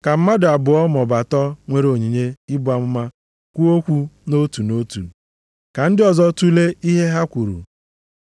Ka mmadụ abụọ maọbụ atọ nwere onyinye ibu amụma kwuo okwu nʼotu nʼotu, ka ndị ọzọ tulee ihe ha kwuru.